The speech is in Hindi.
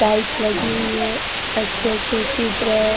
टाइल्स लगी हुई है अच्छे अच्छे चित्र है।